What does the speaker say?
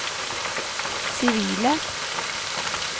sivile